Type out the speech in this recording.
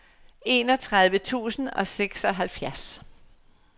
enogtredive tusind og seksoghalvfjerds